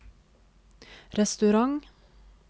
restaurant